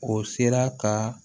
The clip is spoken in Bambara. O sera ka